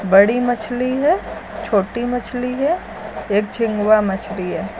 बड़ी मछली है छोटी मछली है एक चिंगुआ मछली है।